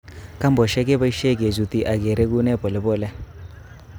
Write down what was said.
Kambosiek keboisie kechuti ak kereguni polepole.